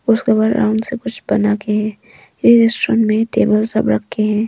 उसके बाद आराम से कुछ बना के है रेस्टोरेंट में टेबल सब रखे हैं।